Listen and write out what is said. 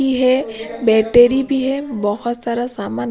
यह बैटरी भी है बहुत सारा सामान--